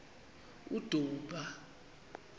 udumba